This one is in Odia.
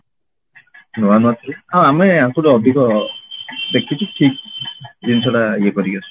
ନୂଆ ନୂଆ ଥିଲା? ହଁ ଆମେ ଆଙ୍କଠୁ ଅଧିକ ଦେଖିଛି ଠିକ ଜିନିଷଟା ଇଏ କରିକି ଆସିଛୁ